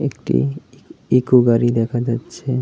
একটি ইকো গাড়ি দেখা যাচ্ছে।